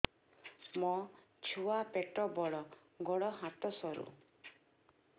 ମୋ ଛୁଆ ପେଟ ବଡ଼ ଗୋଡ଼ ହାତ ସରୁ